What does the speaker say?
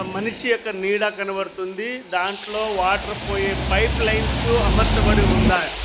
మనిషి యొక్క నీడ కనబడుతుంది దాంట్లో వాటర్ పోయే పైప్ లైన్సు అమర్చబడి ఉన్నాయ్.